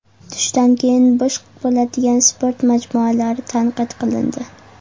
Tushdan keyin bo‘sh bo‘ladigan sport majmualari tanqid qilindi.